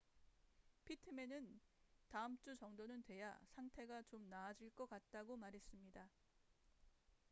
피트맨은 다음 주 정도는 돼야 상태가 좀 나아질 것 같다고 말했습니다